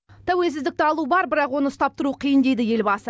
тәуелсіздікті алу бар бірақ оны ұстап тұру қиын дейді елбасы